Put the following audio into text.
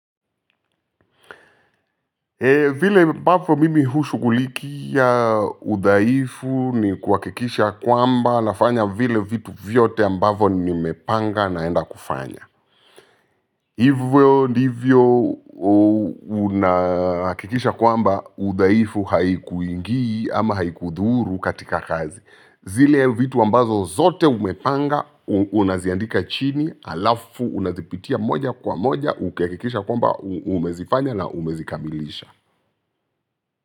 Vile ambapo mimi hushugulikia udhaifu ni kuhakikisha ya kwamba nafanya vile vitu vyote ambavyo nimepanga naenda kufanya. Hivyo ndivyo unahakikisha kwamba udhaifu haikuingi ama haikudhuru katika kazi. Zile vitu ambazo zote umepanga unaziandika chini alafu unazipitia moja kwa moja ukihakikisha kwamba umezifanya na umezikamilisha.